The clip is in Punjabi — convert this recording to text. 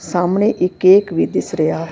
ਸਾਮਣੇ ਇੱਕ ਕੇਕ ਵੀ ਦਿਸ ਰੇਯਾ ਹੈ।